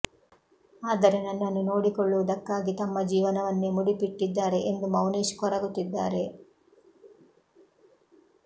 ಆದರೆ ನನ್ನನ್ನು ನೋಡಿಕೊಳ್ಳುವದಕ್ಕಾಗಿ ತಮ್ಮ ಜೀವನವನ್ನೇ ಮುಡಿಪಿಟ್ಟಿದ್ದಾರೆ ಎಂದು ಮೌನೇಶ್ ಕೊರಗುತ್ತಿದ್ದಾರೆ